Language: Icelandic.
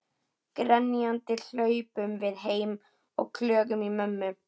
Grenjandi hlaupum við heim og klögum í mömmu.